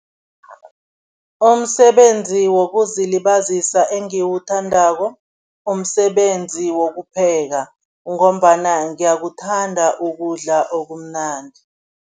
Umsebenzi wokuzilibazisa engiwuthandako, umsebenzi wokupheka ngombana ngiyakuthanda ukudla okumnandi.